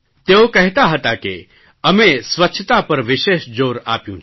તેઓ કહેતા હતા કે અમે સ્વચ્છતા પર વિશેષ જોર આપ્યું છે